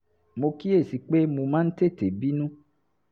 mo kíyè sí i pé mo máa ń tètè bínú